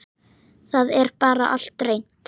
Það er bara allt reynt.